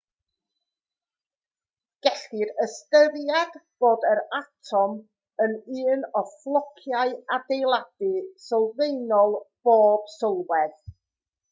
gellir ystyried bod yr atom yn un o flociau adeiladu sylfaenol pob sylwedd